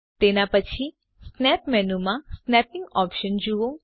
તેના પછી snap menu માં સ્નેપીંગ ઓપ્શન જુઓ